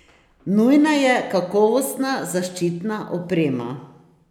Nujna je kakovostna zaščitna oprema.